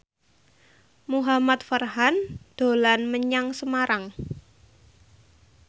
Muhamad Farhan dolan menyang Semarang